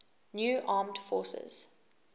new armed forces